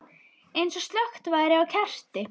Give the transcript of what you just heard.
Eins og slökkt væri á kerti.